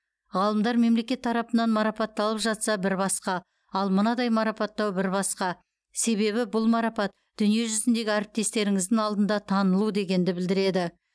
ғалымдар мемлекет тарапынан марапатталып жатса бір басқа ал мынадай марапаттау бір басқа себебі бұл марапат дүниежүзіндегі әріптестеріңіздің алдында танылу дегенді білдіреді